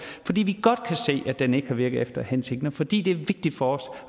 fordi vi godt kan se at den ikke har virket efter hensigten og fordi det er vigtigt for os